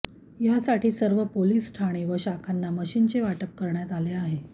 यासाठी सर्व पोलीस ठाणी व शाखांना मशीनचे वाटप करण्यात आले आहे